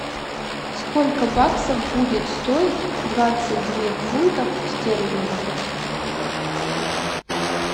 сколько баксов будет стоить двадцать две фунтов стерлингов